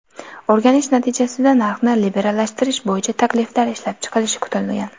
O‘rganish natijasida narxni liberallashtirish bo‘yicha takliflar ishlab chiqilishi kutilgan.